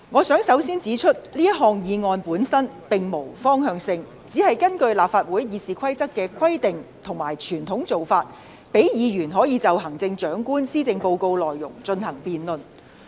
首先，我想指出這項議案本身並無方向性，只是根據立法會《議事規則》的規定和傳統做法，讓議員可就行政長官施政報告的內容進行辯論。